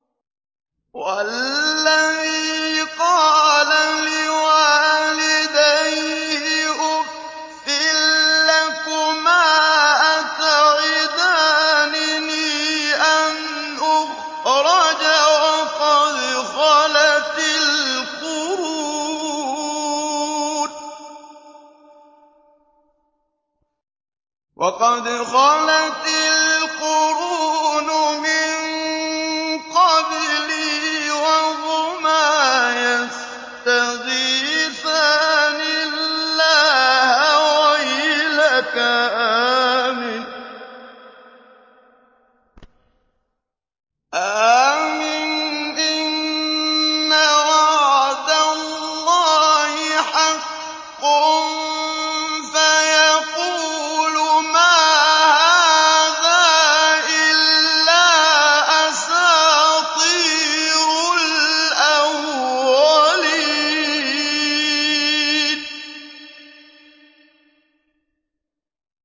وَالَّذِي قَالَ لِوَالِدَيْهِ أُفٍّ لَّكُمَا أَتَعِدَانِنِي أَنْ أُخْرَجَ وَقَدْ خَلَتِ الْقُرُونُ مِن قَبْلِي وَهُمَا يَسْتَغِيثَانِ اللَّهَ وَيْلَكَ آمِنْ إِنَّ وَعْدَ اللَّهِ حَقٌّ فَيَقُولُ مَا هَٰذَا إِلَّا أَسَاطِيرُ الْأَوَّلِينَ